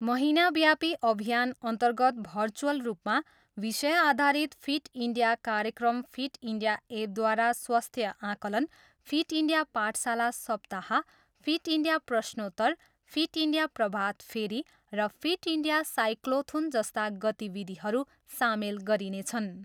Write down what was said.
महिनाव्यापी अभियानअन्तर्गत भर्चुअल रूपमा विषय आधारित फिट इन्डिया कार्यक्रम फिट इन्डिया एपद्वारा स्वास्थ्य आकलन, फिट इन्डिया पाठशाला सप्ताह, फिट इन्डिया प्रश्नोत्तर, फिट इन्डिया प्रभातफेरी र फिट इन्डिया साइक्लोथोन जस्ता गतिविधिहरू सामेल गरिनेछन्।